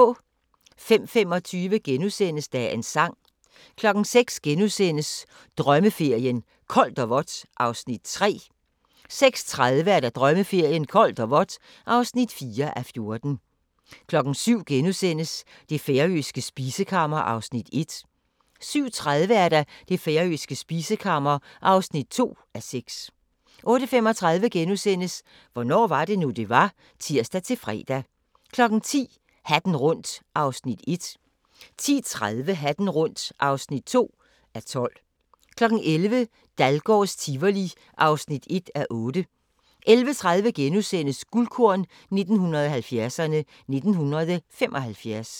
05:25: Dagens sang * 06:00: Drømmeferien: Koldt og vådt (3:14)* 06:30: Drømmeferien: Koldt og vådt (4:14) 07:00: Det færøske spisekammer (1:6)* 07:30: Det færøske spisekammer (2:6) 08:35: Hvornår var det nu, det var? *(tir-fre) 10:00: Hatten rundt (1:12) 10:30: Hatten rundt (2:12) 11:00: Dahlgårds Tivoli (1:8) 11:30: Guldkorn 1970'erne: 1975 *